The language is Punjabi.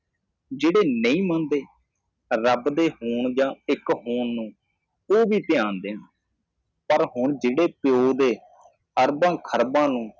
ਜਿਹੜੇ ਨਹੀ ਮੰਨਦੇ ਰੱਬ ਦੇ ਹੋਣ ਯਾ ਇੱਕ ਹੋਣ ਨੂੰ ਓਹ ਵੀ ਧਿਆਨ ਦੇਣ ਪਰ ਹੁਣ ਜਿਹੜੇ ਪਿਓ ਦੇ ਅਰਬਾਂ ਖਰਬਾਂ ਨੂੰ ।